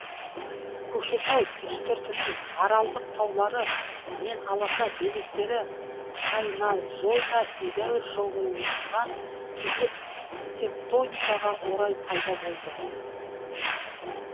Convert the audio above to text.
көкшетау үстіртінің аралдық таулары мен аласа белестері кайназойда едәуір жылжыған кесек тектоникаға орай пайда болды